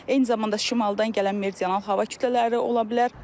Eyni zamanda şimaldan gələn meridional hava kütlələri ola bilər.